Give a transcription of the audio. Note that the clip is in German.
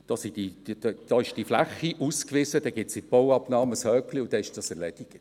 Da ist diese Fläche ausgewiesen, dann gibt es in der Bauabnahme ein Häkchen und dann ist das erledigt.